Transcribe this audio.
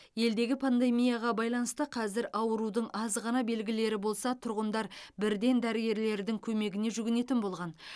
елдегі пандемияға байланысты қазір аурудың азғана белгілері болса тұрғындар бірден дәрігерлердің көмегіне жүгінетін болған